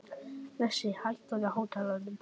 Bresi, hækkaðu í hátalaranum.